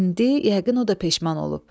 İndi yəqin o da peşman olub.